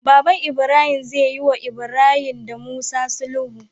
Baban ibrahim zeyi wa ibrahim da musa sulhu